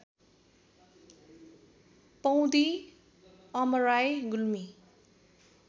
Paundi Amarai Gulmi